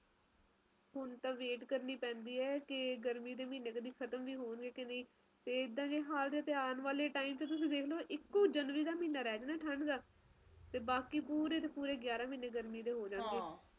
ਹੁਣ ਤਾ ਕਰਨੀ ਪੈਂਦੀ ਆ ਕੇ ਗਰਮੀ ਦੇ ਮਹੀਨੇ ਖਤਮ ਹੋਣਗੇ ਕਿ ਨਹੀਂ ਜੇ ਇੱਦਾ ਹੀ ਹਾਲ ਰਹੇ ਤਾ ਇੱਕੋ ਹੀ ਮਹੀਨਾ ਰਹਿ ਜਾਣਾ ਠੰਡ ਦਾ ਜਨਵਰੀ ਦਾ ਤੇ ਬਾਕੀ ਦੇ ਪੂਰੇ ਦੇ ਪੂਰੇ ਗਿਆਰਹ ਮਹੀਨੇ ਗਰਮੀ ਦੇ ਰਹਿ ਜਾਣਗੇ